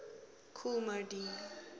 kool moe dee